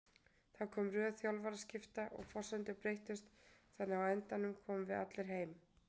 Það kom röð þjálfaraskipta og forsendur breyttust þannig að á endanum komum við allir heim.